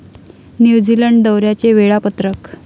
New Zealand दौऱ्याचे वेळापत्रक